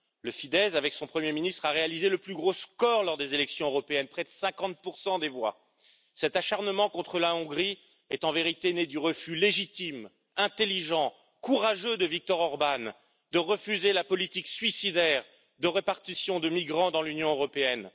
Le Fidesz avec son Premier ministre a réalisé le plus gros score lors des élections européennes, près de 50 des voix. Cet acharnement contre la Hongrie est en vérité né du refus légitime, intelligent et courageux de Viktor Orbán de refuser la politique suicidaire de répartition de migrants dans l'Union européenne.